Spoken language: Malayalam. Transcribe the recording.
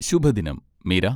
ശുഭദിനം, മീര.